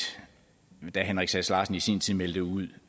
da herre henrik sass larsen i sin tid meldte ud